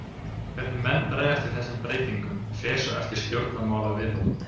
Hvernig menn bregðast við þessum breytingum fer svo eftir stjórnmálaviðhorfum.